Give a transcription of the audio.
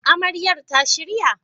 Amaryar ta shirya?